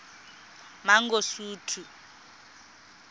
mangosuthu